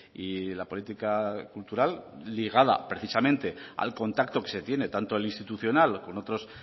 y la política cultural ligada precisamente al contacto que se tiene tanto el institucional con otros